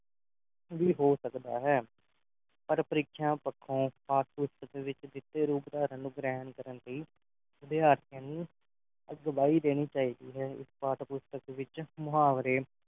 ਵੀ ਹੋ ਸਕਦਾ ਹੈ ਪਰ ਪ੍ਰੀਖਿਆ ਪੱਖੋਂ ਪਾਠ ਪੁਸਤਕ ਦੇ ਵਿਚ ਜਿੱਥੇ ਰੂਪ ਧਰਨ ਨੂੰ ਗ੍ਰਹਿਣ ਕਰਨ ਦੀ ਵਿਦਿਆਰਥੀਆਂ ਨੂੰ ਅਗਵਾਈ ਦੇਣੀ ਚਾਹੀਦੀ ਹੈ ਇਸ ਪਾਠ-ਪੁਸਤਕ ਵਿਚ ਮੁਹਾਵਰੇ